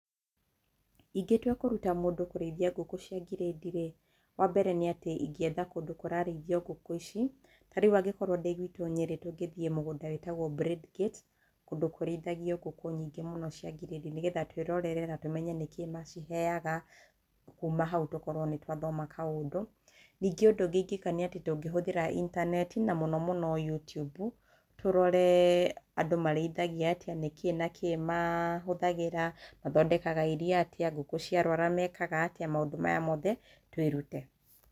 Ingĩtua kũrũta mũndũ kũrĩithia ngũkũ cia ngirĩndi rĩ, wambere nĩ atĩ ingĩetha kũndũ kũrarĩithio ngũkũ ici, ta rĩu angĩkorwo ndĩ gwitũ Nyĩrĩ tũ ngĩthiĩ kũndũ mũgũnda wĩtagwo Bradegate kũndũ kũrĩthagio ngũkũ nyingĩ mũno cia ngirĩndi nĩgetha twĩrorere na tũmenye nĩ kĩĩ maciheyaga kuma hau tũkorwo nĩ twathoma kaũndũ. Ningĩ ũndũ ũngĩ ingĩka nĩ atĩ tũngĩhuthĩra intaneti na mũno mũno YouTube tũrore andũ marĩithagia atĩa, na nĩ kĩ na kĩ mahũthagĩra, mathondekaga irio atĩa, ngũkũ ciarwara mekaga atĩa, maũndũ maya mothe twĩrute.